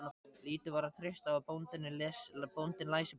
Lítið var að treysta á að bóndinn læsi blöð.